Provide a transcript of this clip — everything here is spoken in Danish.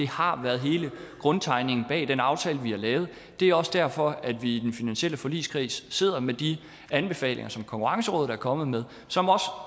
har været hele grundtanken bag den aftale vi har lavet det er også derfor at vi i den finansielle forligskreds sidder med de anbefalinger som konkurrencerådet er kommet med